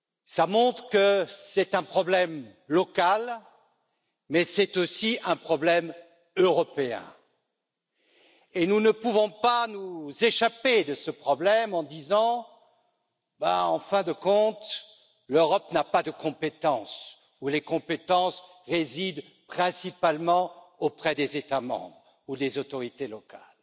Cela montre qu'il s'agit un problème local, mais aussi d'un problème européen, et nous ne pouvons pas nous soustraire à ce problème en disant qu'en fin de compte, l'Europe n'a pas de compétences ou les compétences résident principalement auprès des États membres ou des autorités locales.